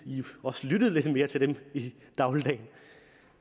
også lyttede lidt mere til dem i dagligdagen